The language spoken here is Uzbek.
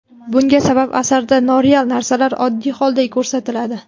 Bunga sabab, asarda noreal narsalar oddiy holday ko‘rsatiladi.